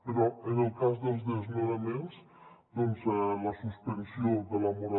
però en el cas dels desnonaments la suspensió de la mora